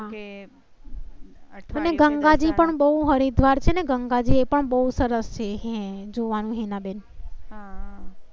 અને ગંગાજી પણ બહુ હરિદ્વાર છે. ગંગા જે પણ બહુ સરસ. છે. જોવા નું હિનાબેન